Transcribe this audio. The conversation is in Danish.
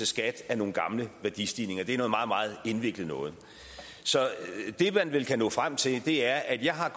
skat af nogle gamle værdistigninger det er noget meget meget indviklet noget så det man vel kan nå frem til er at jeg har